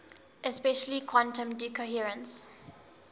especially quantum decoherence